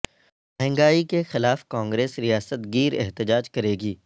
مہنگائی کے خلاف کانگریس ریاست گیر احتجاج کرے گی